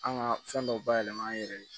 An ka fɛn dɔw bayɛlɛma an yɛrɛ ye